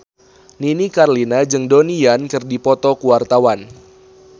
Nini Carlina jeung Donnie Yan keur dipoto ku wartawan